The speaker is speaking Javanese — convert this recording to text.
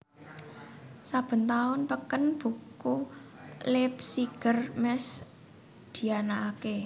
Saben taun peken buku Leipziger Messe dianakaké